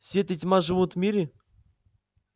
свет и тьма живут в мире